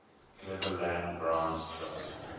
cleveland browns trust